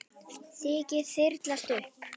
Rykið þyrlast upp.